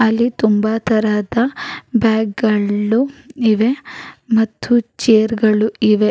ಅಲ್ಲಿ ತುಂಬಾ ತರದ ಬ್ಯಾಗ್ ಗಳು ಇವೆ ಮತ್ತು ಚೇರ್ ಗಳು ಇವೆ.